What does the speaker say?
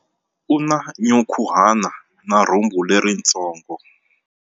U na nyankhuhana na rhumbu leritsongo.